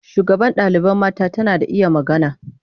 Shugaban ɗalibai mata tana da iya magana.